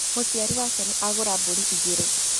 Mũciari wake nĩ agũra mbũri igĩrĩ.